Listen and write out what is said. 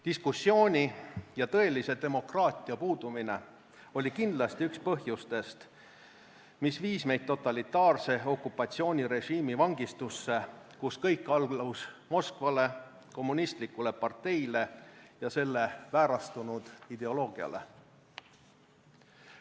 Diskussiooni ja tõelise demokraatia puudumine oli kindlasti üks põhjustest, mis viis meid totalitaarse okupatsioonirežiimi vangistusse, kus kõik allus Moskvale, kommunistlikule parteile ja selle väärastunud ideoloogiale.